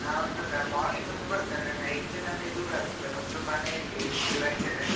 ನಾನೊಂದು morning ಒಂದು ಬರ್ತೇನೆ night ನಮ್ಗೆ ದೂರ ಆಗ್ತಾದೆ ನಮ್ದು ಮನೆ ಇಲ್ಲಿ ಗುರಾಯ್ನಕೆರೆ.